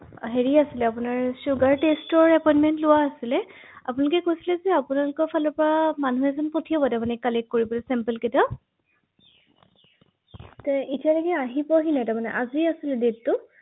হয়